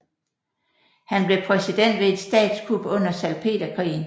Han blev præsident ved et statskup under Salpeterkrigen